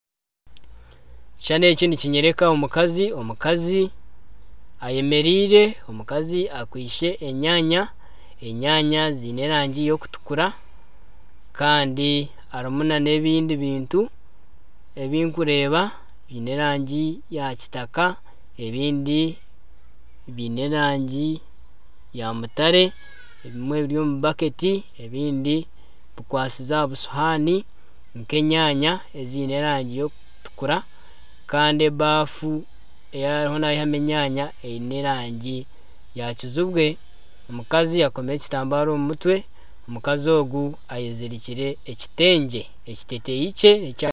Ekishushani eki nikinyoreka omukazi ayemereire omukazi akwaitse enyanya, enyanya ziine erangi erikutukura kandi harimu nana ebindi bintu ebindikureeba biine erangi eya kitaka ebindi biine erangi ya mutare ebimwe biri omu baketi ebindi bikwatsize aha busuhaani n'enyanya eziine erangi eyokutukura kandi ebafu eyi ariyo nayihamu enyanya eyine erangi ya kizibwe omukazi akomiire ekitambara omu mutwe omukazi ogu ayezirikiire ekitengye.